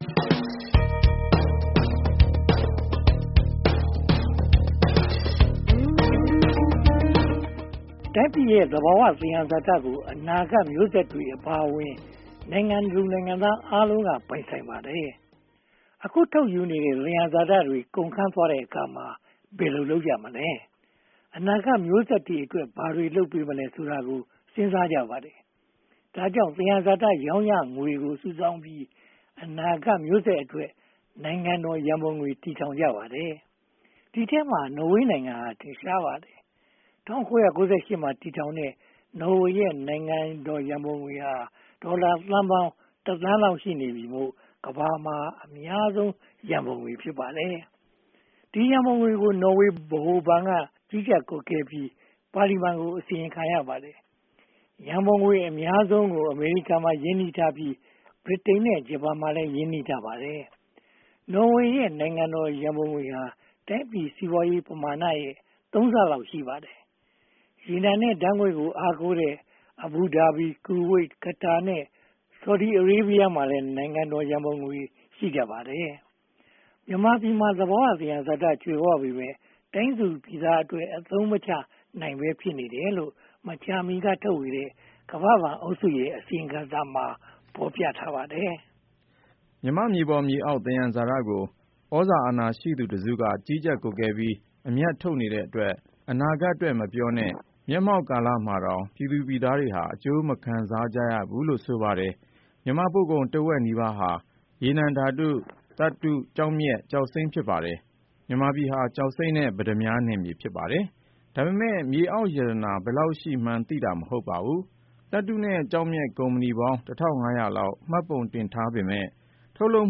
တိုင်းပြည်ရဲ့ သဘာဝသယံဇာတတွေကို အနာဂတ်မျိုးဆက်တွေအပါအဝင် နိုင်ငံသူနိုင်ငံသားအားလုံးက ပိုင်ဆိုင်ပါတယ်။ အခုထုတ်ယူနေတဲ့ သယံဇာတတွေ ကုန်ခမ်းသွားတဲ့အခါမှာ ဘယ်လိုလုပ်ကြမလဲ။ အနာဂတ်မျိုးဆက်တွေအတွက် ဘာတွေလုပ်ပေးမလဲ ဆိုတာတွေကို စဉ်းစားကြပါတယ်။ ဒါကြောင့် သယံဇာတ ရောင်းရငွေတွေကို စုပေါင်းပြီး အနာဂတ်မျိုးဆက်အတွက် ‘နိုင်ငံတော်ရန်ပုံငွေ’ တည်ထောင်ကြပါတယ်။ ဒီအထဲမှာ နော်ဝေနိုင်ငံဟာ ထင်ရှားပါတယ်။ ၁၉၉၈ မှာ တည်ထောင်တဲ့ နော်ဝေရဲ့ နိုင်ငံတော်ရန်ပုံငွေဟာ ဒေါ်လာသန်းပေါင်း (၁) သန်းလောက်ရှိနေပြီမို့ ကမ္ဘာမှာ အများဆုံးရန်ပုံငွေ ဖြစ်ပါတယ်။ ဒီရန်ပုံငွေကို နော်ဝေဗဟိုဘဏ်က ကြီးကြပ်ကွပ်ကဲပြီး ပါလီမန်ကို အစီရင်ခံရပါတယ်။ ရန်ပုံငွေ အများဆုံး (၃၈) ရာခိုင်နှုန်းကို အမေရိကန်မှာ ရင်းနှီးထားပြီး၊ ဗြိတိန် (၉) ရာခိုင်နှုန်းနဲ့ ဂျပန်မှာလည်း ရင်းနှီးထားပါတယ်။ နော်ဝေရဲ့ နိုင်ငံတော်ရန်ပုံငွေဟာ တိုင်းပြည်စီးပွားရေးပမာဏရဲ့ သုံးဆလောက် ရှိပါတယ်။ ရေနံနဲ့ဓါတ်ငွေ့ကို အားကိုးတဲ့ Abu Dhabi, Kuwait, Qatar နဲ့ Saudi Arabia မှာလည်း နိုင်ငံတော်ရန်ပုံငွေတွေ ရှိကြပါတယ်။ မြန်မာပြည်မှာ သဘာဝသယံဇာတ ကြွယ်ဝပေမယ့် တိုင်းသူပြည်သားအတွက် အသုံးမချနိုင်ဘဲ ဖြစ်နေတယ်လို့ မကြာမီကထုတ်ဝေတဲ့ ကမ္ဘာ့ဘဏ်အုပ်စုရဲ့ အစီရင်ခံစာမှာ ဖော်ပြထားပါတယ်။ မြန်မာ့မြေပေါ်မြေအောက် သယံဇာတကို သြဇာအာဏာရှိသူတစုက ကြီးကြပ်ကွပ်ကဲပြီး အမြတ်ထုတ်နေတဲ့အတွက် အနာဂတ်အတွက် မပြောနဲ့ မျက်မှောက်ကာလမှာတောင် ပြည်သူပြည်သားတွေဟာ အကျိုးမခံစားရဘူးလို့ ဆိုပါတယ်။ မြန်မာ့ပို့ကုန်တဝက်နီးပါးဟာ ရေနံဓါတ်ငွေ့၊ သတ္တု၊ ကျောက်မျက်နဲ့ ကျောက်စိမ်းတို့ ဖြစ်ပါတယ်။ မြန်မာပြည်ဟာ ကျောက်စိမ်းနဲ့ ပတ္တမြားနယ်မြေ ဖြစ်ပါတယ်။ ဒါပေမဲ့ မြေအောက်ရတနာ ဘယ်လောက်ရှိမှန်းသိတာ မဟုတ်ပါဘူး။ သတ္တုနဲ့ ကျောက်မျက်ကုမ္ပဏီပေါင်း (၁၅၀၀) လောက် မှတ်ပုံတင်ထားပေမယ့် ထုတ်လုပ်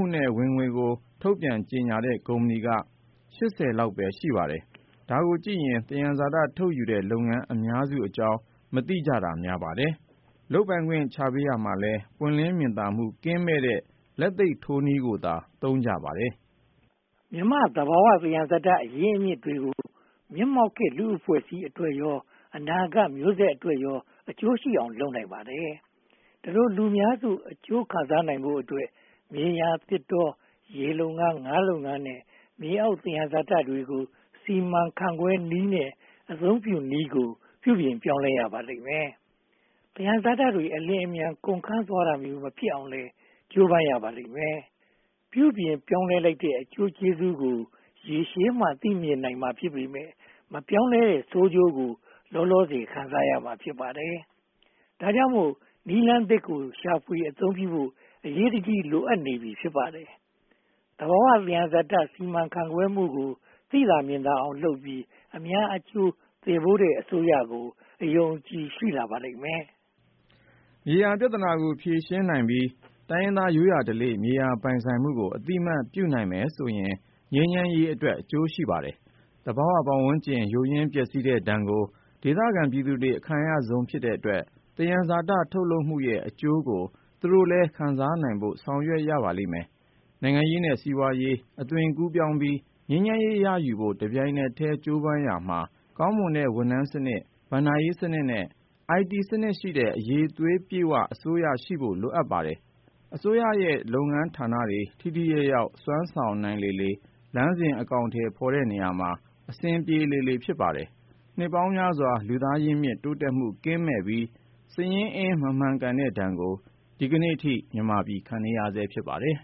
မှုနဲ့ ဝင်ငွေကို ထုတ်ပြန်ကြေညာတဲ့ ကုမ္ပဏီက (၈၀) ပဲ ရှိပါတယ်။ ဒါကိုကြည့်ရင် သယံဇာတ ထုတ်ယူနေတဲ့ လုပ်ငန်းအများစုအကြောင်း မသိတာများပါတယ်။ လုပ်ပိုင်ခွင့်ချပေးရာမှာလည်း ပွင့်လင်းမြင်သာမှု ကင်းမဲ့တဲ့ လက်သိပ်ထိုးနည်းကိုသာ သုံးကြပါတယ်။ မြန်မာ့သဘာဝ သယံဇာတအရင်းအမြစ်တွေကို မျက်မှောက်ခေတ်လူ့ အဖွဲ့အစည်းအတွက်ရော၊ အနာဂတ်မျိုးဆက်တွေအတွက်ရော အကျိုးရှိအောင် လုပ်နိုင်ပါတယ်။ ဒီလိုလူများစု အကျိုးခံစားနိုင်ဖို့အတွက် မြေယာ၊ သစ်တော၊ ရေလုပ်ငန်း၊ ငါးလုပ်ငန်းနဲ့ မြေအောင်သယံဇာတတွေကို စီမံခန့်ခွဲနည်းနဲ့ အသုံးပြုနည်းကို ပြုပြင်ပြောင်းလဲရပါလိမ့်မယ်။ သယံဇာတတွေ အလျှင်အမြန် ကုန်ခမ်းသွားတာမျိုး မဖြစ်ရအောင်လည်း ကြိုးပမ်းရပါလိမ့်မယ်။ ပြုပြင်ပြောင်းလဲလိုက်တဲ့ အကျိုးကျေးဇူးကို ရေရှည်မှ သိမြင်နိုင်မှာ ဖြစ်ပေမယ့် မပြောင်းလဲတဲ့ ဆိုးကျိုးကို လောလောဆယ် ခံစားရမှာ ဖြစ်ပါတယ်။ ဒါကြောင့်မို့ နည်းလမ်းသစ်ကို ရှာဖွေအသုံးပြုနိုင်ဖို့ အရေးတကြီး လိုအပ်နေပြီ ဖြစ်ပါတယ်။ သဘာဝသယံဇာတ စီမံခန့်ခွဲမှုကို သိသာမြင်သာအောင်လုပ်ပြီး အများအကျိုးသယ်ပိုးတဲ့အစိုးရကို အယုံအကြည် ရှိလာပါလိမ့်မယ်။ မြေယာပြဿနာကို ဖြေရှင်းနိုင်ပြီး တိုင်းရင်းသား ရိုးရာဓလေ့ မြေယာပိုင်ဆိုင်မှုကို အသိအမှတ်ပြုနိုင်မယ်ဆိုရင် ငြိမ်းချမ်းရေးအတွက် အကျိုးရှိပါတယ်။ သဘာဝပတ်ဝန်းကျင် ယိုးယွင်းပျက်စီးတဲ့ဒဏ်ကို ဒေသခံပြည်သူတွေ အခံရဆုံးဖြစ်တဲ့အတွက် သယံဇာတ ထုတ်လုပ်မှုရဲ့ အကျိုးကို သူတို့လည်း ခံစားနိုင်ဖို့ ဆောင်ရွက်ရပါလိမ့်မယ်။ နိုင်ငံရေးနဲ့ စီးပွားရေးအသွင်ကူးပြောင်းပြီး ငြိမ်းချမ်းရေးရယူဖို့ တပြိုင်တည်း ကြိုးပမ်းရာမှာ ကောင်းမွန်တဲ့ ဝန်ထမ်းစနစ်၊ ဘဏ္ဍာရေးစနစ်နဲ့ အိုင်တီစနစ်ရှိတဲ့ အရည်အသွေးပြည့်ဝတဲ့ အစိုးရရှိဖို့ လိုပါတယ်။ အစိုးရရဲ့ လုပ်ငန်းဌာနတွေ ထိထိရောက်ရောက် စွမ်းဆောင်နိုင်လေလေ၊ လမ်းစဉ်အကောင်အထည်ဖော်တဲ့ နေရာမှာ အဆင်ပြေလေလေ ဖြစ်ပါတယ်။ နှစ်ပေါင်းများစွာ လူသားရင်းမြစ် တိုးတက်မှုကင်းမဲ့ပြီး စာရင်းအင်း မမှန်ကန်တဲ့ဒဏ်ကို ဒီကနေအထိ ခံနေရဆဲ ဖြစ်ပါတယ်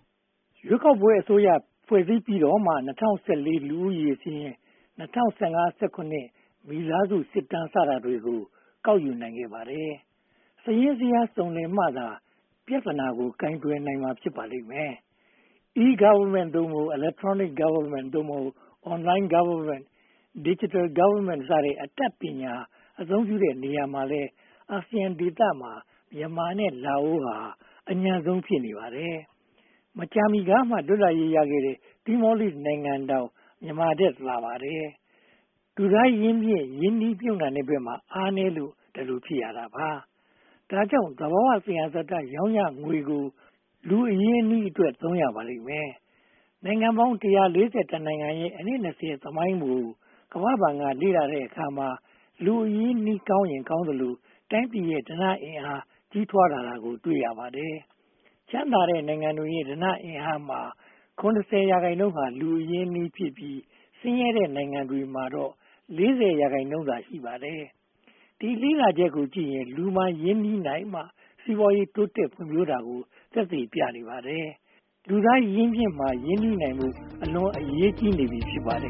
။ ရွေးကောက်ပွဲအစိုးရ ဖွဲ့စည်းပြီးတော့မှ ၂၀၁၄ လူဦးရေစာရင်း၊ ၂၀၁၅-၂၀၁၇ မိသားစုစစ်တမ်း စတာတွေကို ကောက်ယူနိုင်ခဲ့ပါတယ်။ စာရင်းဇယားစုံလင်မှသာ ပြဿနာကို ကိုင်တွယ်ဖြေရှင်းနိုင်ပါလိမ့်မယ်။ e-Government (သို့မဟုတ်) Electronic Government (သို့မဟုတ်) Online Govt, Digital Govt အတတ်ပညာ အသုံးပြုတဲ့နေရာမှာလည်း အာဆီယံဒေသမှာ မြန်မာနဲ့ လာအိုနိုင်ငံတို့ဟာ အညံ့ဆုံး ဖြစ်နေပါတယ်။ မကြာမီကမှ လွတ်လပ်ရေးရခဲ့တဲ့ Timor-Leste နိုင်ငံတောင် မြန်မာထက်သာပါတယ်။ လူသားရင်းမြစ် ရင်းနှီးမြုပ်နံှမှုဘက်မှာ အားနည်းလို့ ဒီလိုဖြစ်ရတာပါ။ ဒါကြောင့် သဘာဝသယံဇာတ ရောင်းရငွေကို လူသားအရင်းအနှီးအတွက် သုံးရပါလိမ့်မယ်။ နိုင်ငံပေါင်း (၁၄၁) နိုင်ငံရဲ့ အနှစ် (၂၀) သမိုင်းကို ကမ္ဘာ့ဘဏ်က လေ့လာတဲ့အခါမှာ လူသားအရင်းအနှီး ကောင်းရင်ကောင်းသလို တိုင်းပြည်ရဲ့ ဓနအင်အား ကြီးထွားလာတာကို တွေ့ရပါတယ်။ ချမ်းသာတဲ့နိုင်ငံတွေရဲ့ ဓနအင်အားမှာ (၇၀) ရာခိုင်နှုန်းဟာ လူအရင်းအနှီးဖြစ်ပြီး၊ ဆင်းရဲတဲ့နိုင်ငံတွေမှာတော့ (၄၀) ရာခိုင်နှုန်းသာ ရှိပါတယ်။ ဒီလေ့လာချက်ကိုကြည့်ရင် လူမှာရင်းနှီးမြုပ်နံှမှသာ စီးပွားရေးတိုးတက်ဖွံ့ဖြိုးတာကို သက်သေပြနေပါတယ်။ လူသားရင်းမြစ်မှာ ရင်းနှီးနိုင်ဖို့ အလွန်အရေးကြီးနေပြီ ဖြစ်ပါတယ်